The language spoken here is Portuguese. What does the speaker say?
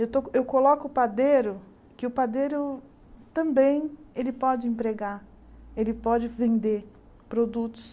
Eu to eu coloco o padeiro, que o padeiro também ele pode empregar, ele pode vender produtos.